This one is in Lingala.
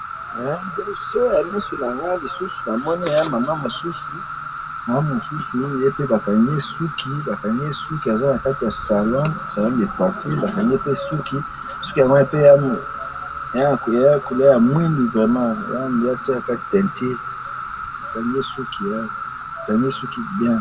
Libosoya misu na nga lisusu ,namoni eza maman mosusu, maman mosusu, ye pe bakangi ye, bakangi ye suki , aza na kati ya salon ,salon de coiffure ,bakangi ye pe ,suki yango pe eza na couleur ya muindo vraiment , on dirait atiaka teinture ,bakangi ye suki ,bakangi ye suki bien